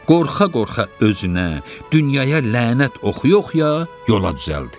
Qorxa-qorxa özünə, dünyaya lənət oxuya-oxuya yola düzəldi.